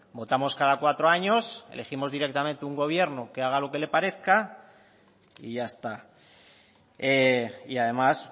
votamos cada cuatro años elegimos directamente un gobierno que haga lo que le parezca y ya está y además